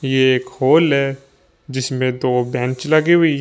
ये एक हॉल है जिसमें दो बेंच लगे हुई--